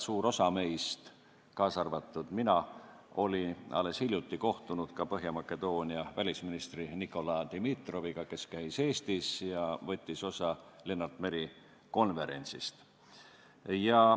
Suur osa meist, kaasa arvatud mina, olime alles hiljuti kohtunud Põhja-Makedoonia välisministri Nikola Dimitroviga, kes käis Eestis ja võttis osa Lennart Meri konverentsist.